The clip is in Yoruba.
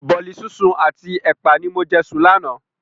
Bọ̀ọ̀li sísun àti ẹpa ni mo jẹ sùn lánàá.